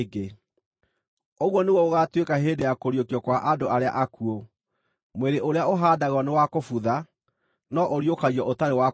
Ũguo nĩguo gũgaatuĩka hĩndĩ ya kũriũkio kwa andũ arĩa akuũ. Mwĩrĩ ũrĩa ũhaandagwo nĩ wa kũbutha, no ũriũkagio ũtarĩ wa kũbutha;